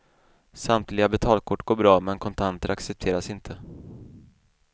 Samtliga betalkort går bra, men kontanter accepteras inte.